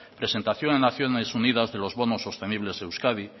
presentación en acciones unidas de los bonos sostenibles euskadi